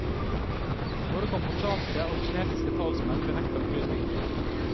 Både kambodsjanske og kinesiske talsmenn benekter opplysningen.